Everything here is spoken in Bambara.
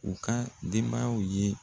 U ka denbayaw ye